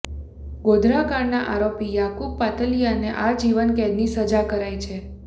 ગોધરાકાંડના આરોપી આરોપી યાકુબ પાતલિયાને આજીવન કેદની સજા કરાઈ છે